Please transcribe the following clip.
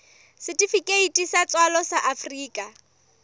setifikeiti sa tswalo sa afrika